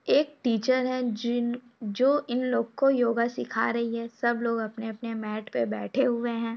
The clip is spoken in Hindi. एक टीचर है जिन जो इन लोग को योगा सिखा रही है सब लोग अपने अपने मैट पे बैठे हुए हैं।